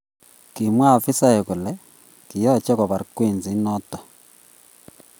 Kimwa afisaek kole kiyaache kobar Kwenzi inoto oo.